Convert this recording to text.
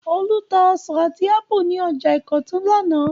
Olú tá ọsàn àti ápù ní ọjà Ìkọ̀tún lánàá.